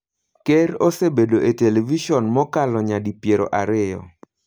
Ker osebedo e televison mokalo nyadi piero ariyo.